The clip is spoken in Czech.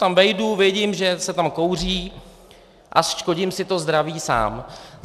Tam vejdu, vidím, že se tam kouří a škodím si to zdraví sám.